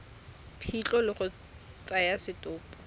phitlho le go tsaya setopo